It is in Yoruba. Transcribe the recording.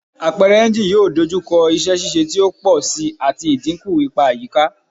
Apẹrẹ engine yoo dojukọ iṣẹ ṣiṣe ti o pọ si ati idinku ipa ayika